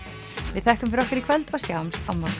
við þökkum fyrir okkur í kvöld og sjáumst á morgun